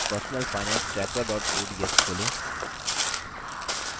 personalfinancetracker ods खोलें